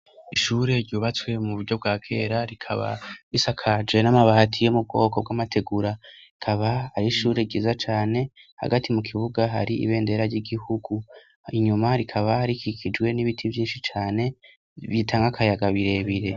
Ishure ryubatswe mu buryo bwa kera rikaba risakaje n'amabati yo mu bwoko bw'amategura, rikaba ari ishure ryiza cane hagati mu kibuga hari ibendera ry'igihugu inyuma rikaba rikikijwe n'ibiti vyinshi cane bitanga akayaga birebire.